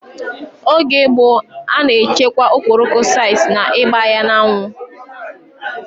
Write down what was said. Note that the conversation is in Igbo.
Oge gboo, a na echekwa okporoko site ná ịgba ya n'anwu